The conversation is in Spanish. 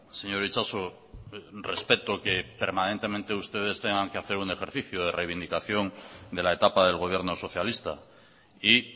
señor itxaso respeto que permanentemente ustedes tengan que hacer un ejercicio de reivindicación de la etapa del gobierno socialista y